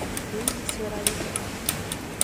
Hiti nĩciũragĩte andũ aingĩ